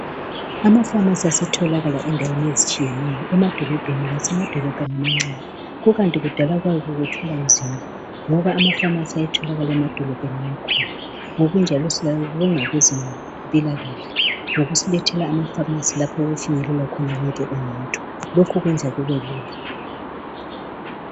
Amapharmacy asetholakala endaweni ezitshiyeneyo emadolobheni lasemadolobheni amancane kukanti kudala kwakuthwalwa nzima ngoba amapharmacy ayetholakala emadolobhen amakhulu ngokunjalo siyabonga kubeze mpilakahle ngokusilethela amapharmacy lapho okufinyelela khona wonke umuntu lokho kwenza kubelula